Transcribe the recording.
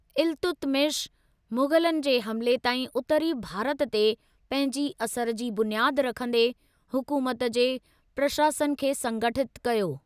इल्तुतमिश, मुग़लनि जे हमले ताईं उत्तरी भारत ते पंहिंजी असर जी बुनियाद रखंदे, हुकूमत जे प्रशासन खे संगठितु कयो।